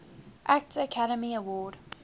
actor academy award